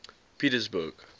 pietersburg